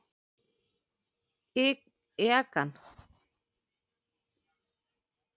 legan, óútskýranlegan hátt.